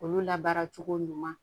Olu la baara cogo ɲuman